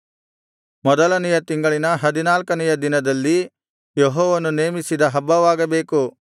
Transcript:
ಮೊದಲನೆಯ ತಿಂಗಳಿನ ಹದಿನಾಲ್ಕನೆಯ ದಿನದಲ್ಲಿ ಯೆಹೋವನು ನೇಮಿಸಿದ ಹಬ್ಬವಾಗಬೇಕು